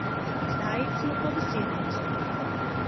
Zdaj smo pa v sedemdesetih.